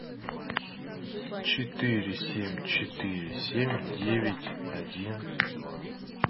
четыре семь четыре семь девять один два